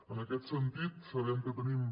en aquest sentit sabem que tenim